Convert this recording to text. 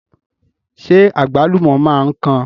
Ṣé àgbálùmọ̀ máa ń kan?